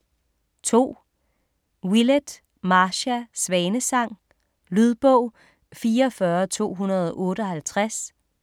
2. Willett, Marcia: Svanesang Lydbog 44258